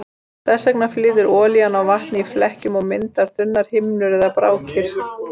Þess vegna flýtur olían á vatni í flekkjum og myndar þunnar himnur eða brákir.